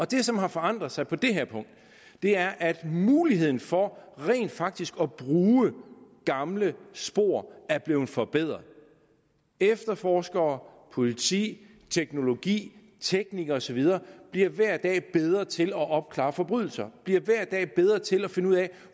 det som har forandret sig på det her punkt er at muligheden for rent faktisk at bruge gamle spor er blevet forbedret efterforskere politi teknologi teknikere og så videre bliver hver dag bedre til at opklare forbrydelser bliver hver dag bedre til at finde ud af